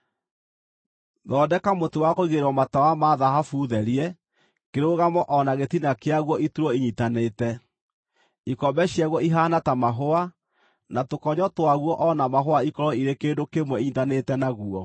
“Thondeka mũtĩ wa kũigĩrĩrwo matawa ma thahabu therie, kĩrũgamo o na gĩtina kĩaguo iturwo inyiitanĩte; ikombe ciaguo ihaana ta mahũa, na tũkonyo twaguo o na mahũa ikorwo irĩ kĩndũ kĩmwe inyiitanĩte naguo.